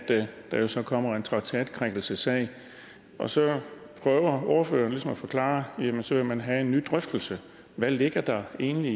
der jo så kommer en traktatkrænkelsessag og så prøver ordføreren ligesom at forklare det med at så vil man have en ny drøftelse hvad ligger der egentlig